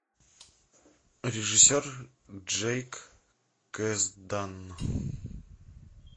режиссер джейк кэздан